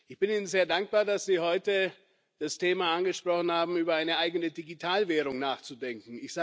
Ich bin Ihnen sehr dankbar, dass Sie heute das Thema angesprochen haben, über eine eigene Digitalwährung nachzudenken.